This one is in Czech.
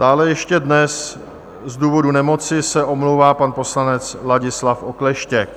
Dále ještě dnes z důvodu nemoci se omlouvá pan poslanec Ladislav Okleštěk.